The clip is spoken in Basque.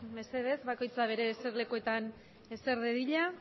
mesedez bakoitza bere ser lekuetan eser de diña